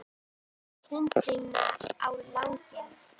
Samt dreg ég stundina á langinn.